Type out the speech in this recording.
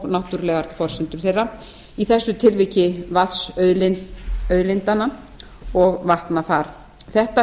náttúrulegar forsendur þeirra í þessu tilviki vatn auðlindanna og vatnafar þetta